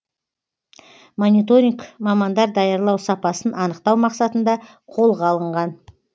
мониторинг мамандар даярлау сапасын анықтау мақсатында қолға алынған